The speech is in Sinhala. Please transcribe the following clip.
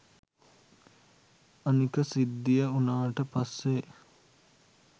අනික සිද්ධිය උනාට පස්සේ